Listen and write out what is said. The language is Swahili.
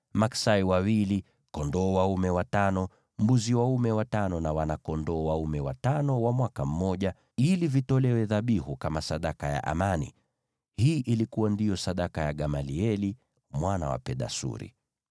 maksai wawili, kondoo dume watano, mbuzi dume watano na wana-kondoo dume watano wa mwaka mmoja, ili vitolewe dhabihu kama sadaka ya amani. Hii ndiyo ilikuwa sadaka ya Gamalieli mwana wa Pedasuri.